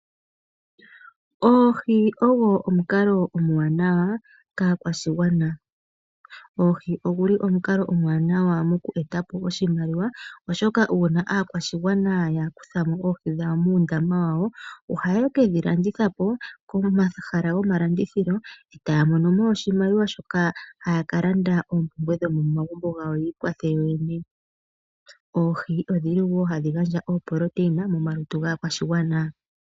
Okutekula oohi ogo omukalo omuwanawa kaa kwashigwana moku nduluka oshimaliwa, oshoka ngele aakwashigwana yakwata mo oohi muundama ohaya ka landitha pomahala goma landithilo. Ohaya mono mo oshimaliwa shoka haya ka landa oopumbwe dhomo magumbo gawo nenge yavule okwiikwathela. Oohi odhili wo hadhi gandja uundjolowele momalutu